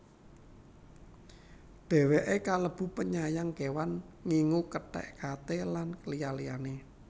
Dheweke kalebu penyayang kewan ngingu kethek kate lan liya liyane